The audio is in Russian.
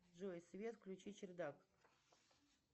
джой свет включи чердак